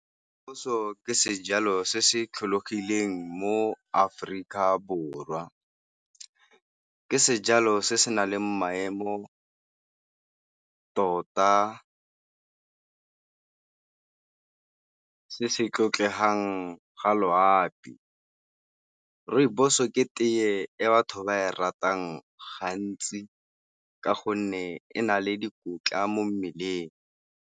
Rooibos-o ke sejalo se se tlholegileng mo-Aforika Borwa. Ke sejalo se se na leng maemo tota, se se tlotlegang ga loapi. Rooibos ke tee e batho ba e ratang gantsi ka gonne e na le dikotla mo mmeleng.